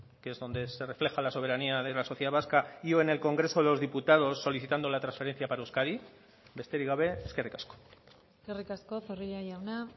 que es donde se refleja la soberanía de la sociedad vasca y o en el congreso de los diputados solicitando la transferencia para euskadi besterik gabe eskerrik asko eskerrik asko zorrilla jauna